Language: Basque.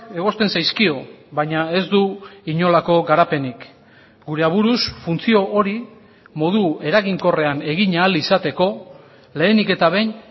egozten zaizkio baina ez du inolako garapenik gure aburuz funtzio hori modu eraginkorrean egin ahal izateko lehenik eta behin